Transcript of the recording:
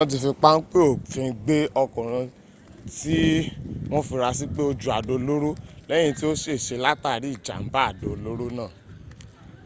wọ́n ti fi páńpẹ́ òfin gbé ọkùnrin tí wọ́n fura sí pé o ju àdó olóró lẹ́yìn tí ó ṣèse látàrí ìjàmbá àdó olóró náà